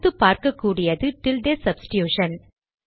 அடுத்து பார்க்ககூடியது tilde substitution